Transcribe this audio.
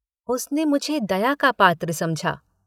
उसने मुझे दया का पात्र समझा।